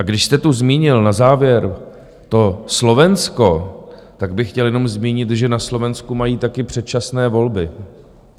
A když jste tu zmínil na závěr to Slovensko, tak bych chtěl jenom zmínit, že na Slovensku mají taky předčasné volby.